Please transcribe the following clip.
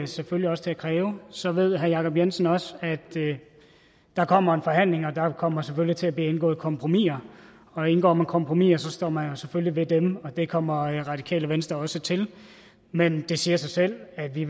selvfølgelig også til at kræve så ved herre jacob jensen også at der kommer en forhandling og at der kommer til til at blive indgået kompromiser og indgår man kompromiser står man jo selvfølgelig ved dem og det kommer radikale venstre også til men det siger sig selv at vi